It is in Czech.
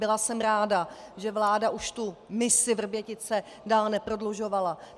Byla jsem ráda, že vláda už tu misi Vrbětice dál neprodlužovala.